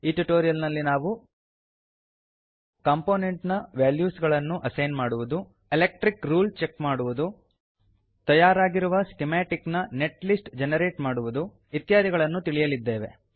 ಈ ಟ್ಯುಟೋರಿಯಲ್ ನಲ್ಲಿ ನಾವು ಕಂಪೋನೆಂಟಿನ ವಾಲ್ಯೂಸ್ ಗಳನ್ನು ಅಸೈನ್ ಮಾಡುವುದು ಎಲೆಕ್ಟ್ರಿಕ್ ರೂಲ್ ಚೆಕ್ ಮಾಡುವುದು ತಯಾರಾಗಿರುವ ಸ್ಕಿಮಾಟಿಕ್ ನ ನೆಟ್ ಲಿಸ್ಟ್ ಜೆನೆರೇಟ್ ಮಾಡುವುದು ಇತ್ಯಾದಿಗಳನ್ನು ತಿಳಿಯಲಿದ್ದೇವೆ